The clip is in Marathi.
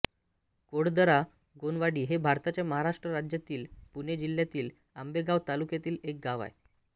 कोळदरा गोणवाडी हे भारताच्या महाराष्ट्र राज्यातील पुणे जिल्ह्यातील आंबेगाव तालुक्यातील एक गाव आहे